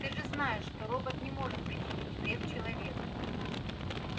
ты же знаешь что робот не может причинить вред человеку